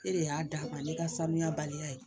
E de y'a d'a ma ne ka sanuya baliya ye